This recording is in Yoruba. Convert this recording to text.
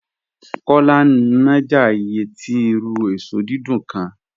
Kọ́lá ń náàjà ìyẹ̀ tì irù èṣọ́ dídùn kán